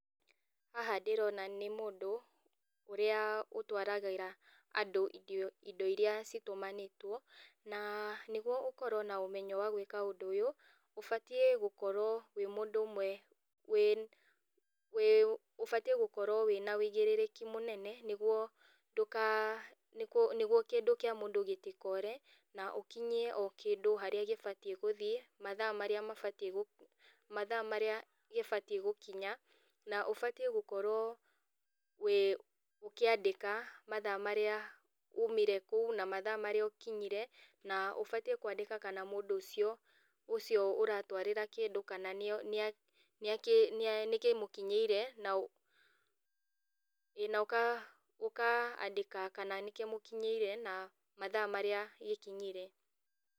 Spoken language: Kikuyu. Haha ndĩrona nĩ mũndũ, ũrĩa ũtwaragĩra andũ irio indo iria citũmanĩtwo, na nĩguo ũkorwo na ũmenyo wa gwĩka ũndũ ũyũ ũbatiĩ gũkorwo wĩ mũndũ ũmwe wĩ wĩ ũbatiĩ gũkorwo wĩna wĩigĩrĩrĩki mũnene, nĩguo ndũka nĩkũ nĩguo kĩndũ kĩa mũndũ gĩtikore na ũkinyie o kĩndũ harĩa gĩbatiĩ gũthiĩ, mathaa marĩa mabatiĩ gũ, mathaa marĩa gĩbatiĩ gũkinya, na ũbatiĩ gũkorwo wĩ ũkĩandĩka mathaa marĩa umire kũu na mathaa marĩa ũkinyire, na ũbatiĩ kwandĩka kana mũndũ ũcio ũcio ũratwarĩra kĩndũ kana nĩ nĩa nĩakĩ nĩkĩmũkinyĩire, na ũ ĩ na ũka ũkandĩka kana nĩkĩmũkinyĩire, na mathaa marĩa gĩkinyire.